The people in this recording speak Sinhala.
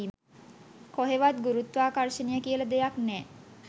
කොහෙවත් ගුරුත්වාකර්ශණය කියල දෙයක් නෑ.